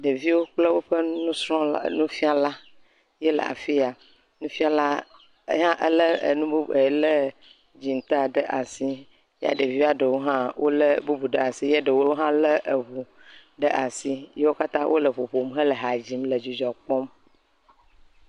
Ɖeviwo kple nusrɔla, nufiala ye le afiya. Nufiala ye hã le nu bubu, dziŋta ɖe asi.kɛ ɖevia ɖewo hã le bubu ɖe asi ye ɖewo hã le eʋɔ ɖe asi ye wò katã wò le ƒoƒom hele hã le dzidzɔ kpɔm.